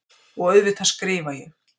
Og auðvitað skrifa ég.